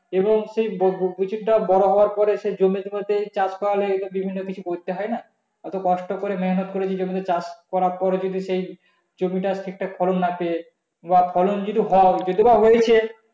এবং সেই বীজ টা বড় হওয়ার পরে সেই জমে জমে সেই চাষ করার জন্য বিভিন্ন কিছু করতে হয় না এত কষ্ট করে মেহনত করে যদি জমিতে চাষ করার পরে জমিটা ঠিকঠাক ফলন না পেয়ে বা ফলন যদি হয় যদিও বা হয়েছে